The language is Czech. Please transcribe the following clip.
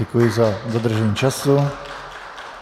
Děkuji za dodržení času.